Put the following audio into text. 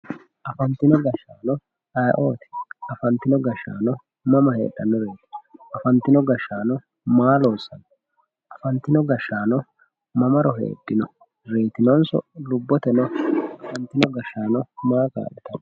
afantino gashshaano ayii"ooti afantino gashshaano mama heedhannoreeti afantino gashshaano maa loossanno afantino gashshaano mamaro heedhino reetinonso lubbote no afantino gashshaano maa kaa'litanno